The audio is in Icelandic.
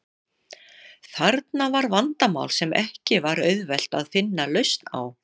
Þarna var vandamál sem ekki var auðvelt að finna lausn á.